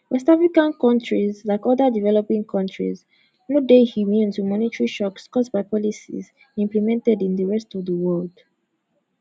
west african kontris like oda developing countries no dey immune to monetary shocks caused by policies implemented in di rest of di world